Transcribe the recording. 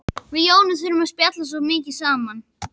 Við Jónas þurftum að spjalla svo mikið saman.